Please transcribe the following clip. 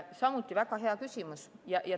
Samuti väga hea küsimus.